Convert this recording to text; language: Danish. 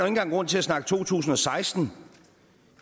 engang grund til at snakke to tusind og seksten